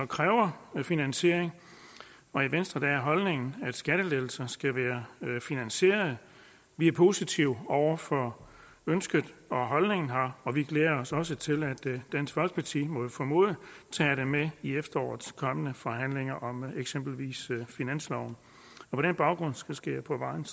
kræver en finansiering og i venstre er holdningen at skattelettelser skal være finansierede vi er positive over for ønsket og holdningen her og vi glæder os også til at dansk folkeparti må vi formode tager det med i efterårets kommende forhandlinger om eksempelvis finansloven på den baggrund skal jeg på vegne